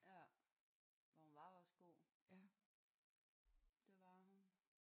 Ja. Ja hun var også god. Det var hun